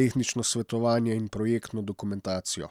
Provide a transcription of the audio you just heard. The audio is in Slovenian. tehnično svetovanje in projektno dokumentacijo.